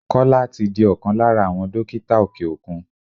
Kọ́lá tí di ọkàn lára àwọn dókítà òkè òkun.